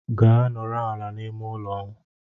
Gaa nọrọ ala n'ime ụlọ!